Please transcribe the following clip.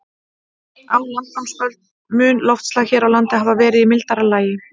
Á landnámsöld mun loftslag hér á landi hafa verið í mildara lagi.